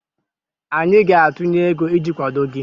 anyị ga-atụnye ego iji kwado gị